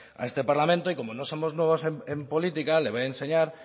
a este parlamento y como no somos nuevos en política le voy a enseñar